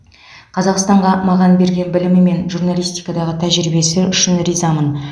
қазақстанға маған берген білімі мен журналистикадағы тәжірибесі үшін ризамын